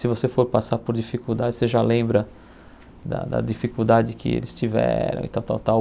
Se você for passar por dificuldades, você já lembra da da dificuldade que eles tiveram e tal, tal, tal.